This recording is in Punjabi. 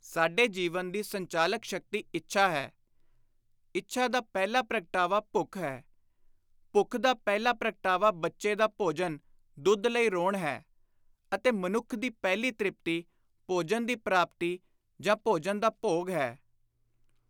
ਸਾਡੇ ਜੀਵਨ ਦੀ ਸੰਚਾਲਕ ਸ਼ਕਤੀ ਇੱਛਾ ਹੈ; ਇੱਛਾ ਦਾ ਪਹਿਲਾ ਪ੍ਰਗਟਾਵਾ ਭੁੱਖ ਹੈ; ਭੁੱਖ ਦਾ ਪਹਿਲਾ ਪ੍ਰਗਟਾਵਾ ਬੱਚੇ ਦਾ ਭੋਜਨ (ਦੁੱਧ) ਲਈ ਰੋਣ ਹੈ ਅਤੇ ਮਨੁੱਖ ਦੀ ਪਹਿਲੀ ਤ੍ਰਿਪਤੀ ਭੋਜਨ ਦੀ ਪ੍ਰਾਪਤੀ ਜਾਂ ਭੋਜਨ ਦਾ ਭੋਗ ਹੈ।